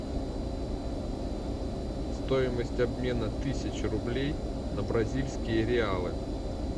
стоимость обмена тысячи рублей на бразильские реалы